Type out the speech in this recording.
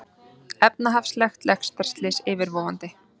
Efnahagslegt lestarslys yfirvofandi